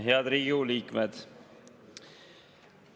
Head Riigikogu liikmed!